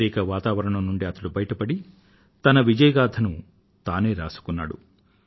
వ్యతిరేక వాతావరణం నుండి అతడు బయట పడి తన విజయ గాథను తానే రాసుకున్నాడు